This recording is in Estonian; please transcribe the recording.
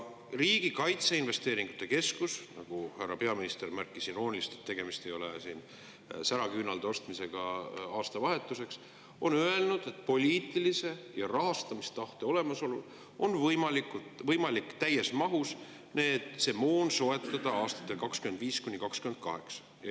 Riigi Kaitseinvesteeringute Keskus – härra peaminister märkis irooniliselt, et tegemist ei ole säraküünalde ostmisega aastavahetuseks – on öelnud, et poliitilise ja rahastamistahte olemasolul on võimalik see moon täies mahus soetada aastatel 2025–2028.